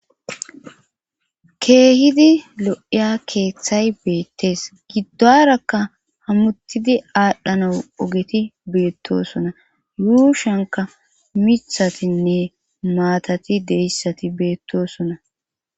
keehidi lo7iya keeththay beettees giddorakka hammuttidi aadhdhana ogeti beettosona yuushanka mithatinne maatati deyssati beettosona